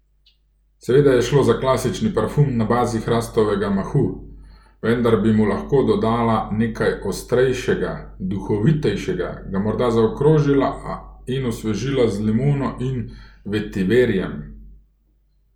Seveda je šlo za klasični parfum na bazi hrastovega mahu, vendar bi mu lahko dodala nekaj ostrejšega, duhovitejšega, ga morda zaokrožila in osvežila z limono in vetiverjem.